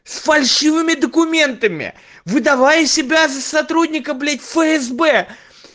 с фальшивыми документами выдавая себя за сотрудника блять фсб